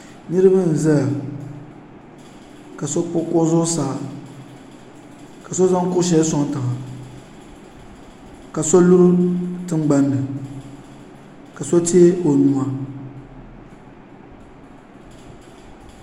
niraba m ʒɛya ka so kpuɣi kuɣu zuɣusaa ka so zaŋ kuɣu shɛli soŋ tiŋa ka so luri tingbanni ka so teei o nuwa